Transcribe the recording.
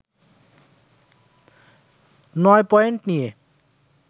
নয় পয়েন্ট নিয়ে